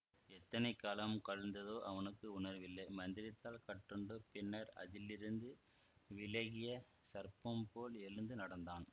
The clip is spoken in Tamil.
எத்தனை காலம் கழிந்ததோ அவனுக்கு உணர்வில்லை மந்திரத்தால் கட்டுண்டு பின்னர் அதிலிருந்து விலகிய சர்ப்பம் போல் எழுந்து நடந்தான்